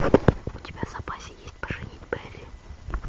у тебя в запасе есть поженить бэрри